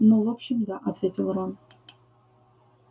ну в общем да ответил рон